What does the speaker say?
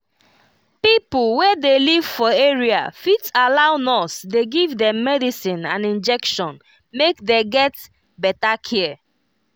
pipo wey dey live for area fit allow nurse dey give dem medicine and injection make dey get better care